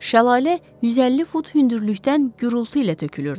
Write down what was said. Şəlalə 150 fut hündürlükdən gurultu ilə tökülürdü.